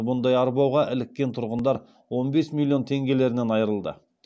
бұндай арбауға іліккен тұрғындар он бес миллион теңгелерінен айырылды